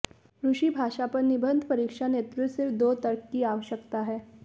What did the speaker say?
रूसी भाषा पर निबंध परीक्षा नेतृत्व सिर्फ दो तर्क की आवश्यकता है